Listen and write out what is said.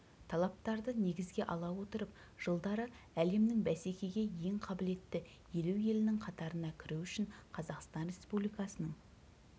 талаптарды негізге ала отырып жылдары әлемнің бәсекеге ең қабілетті елу елінің қатарына кіру үшін қазақстан республикасының